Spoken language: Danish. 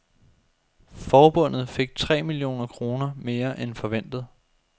Forbundet fik tre millioner kroner mere end forventet.